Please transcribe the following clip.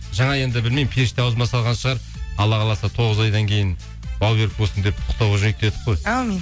жаңа енді білмеймін періште аузыма салған шығар алла қаласа тоғыз айдан кейін бауы берік болсын деп құттықтауда жүрейік дедік қой әумин